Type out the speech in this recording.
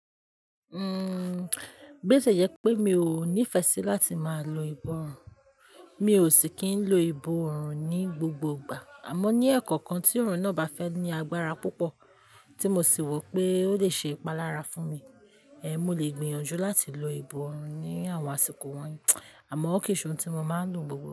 Bio tie jẹ pé mi ò nífẹsí láti máa lo ìbòn. Mi ò sì kí ń lo ìbòrùn ní gbogbo ìgbà, àmọ́ ní ẹ̀ẹ̀kọ̀okan tí ọ̀orùn náà bá fẹ́ ní agbára púpọ̀ tí mo sì wọ pé ó lè ṣe ìpalára fún mi. Mo lè gbìyànjú láti lo ìbòrùn ní àwọn àsìkò wọ̀nyí, àmọ́ kò ṣe ohun tí mo máa ń lò gbogbo.